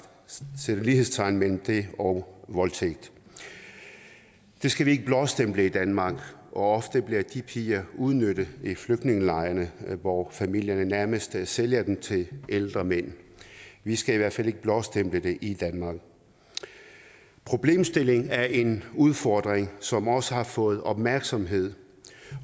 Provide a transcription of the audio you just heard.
sætte lighedstegn mellem det og voldtægt det skal vi ikke blåstemple i danmark og ofte bliver de piger udnyttet i flygtningelejrene hvor familierne nærmest sælger dem til ældre mænd vi skal i hvert fald ikke blåstemple det i danmark problemstillingen er en udfordring som også har fået opmærksomhed